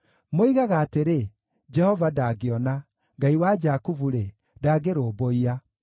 Moigaga atĩrĩ, “Jehova ndangĩona; Ngai wa Jakubu-rĩ, ndangĩrũmbũiya.”